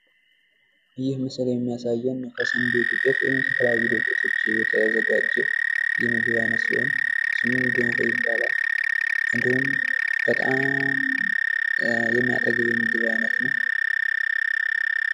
ይህ ምስል የሚያሳየን ከስንዴ ዱቄት ወይም ከተለያዩ ዱቄቶች የተዘጋጀ የምግብ አይነት ሲሆን ስሙም ገንፎ ይባላል። እንዲሁም በጣም! የሚያጠግብ የምግብ አይነት ነዉ።